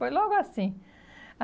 Foi logo assim.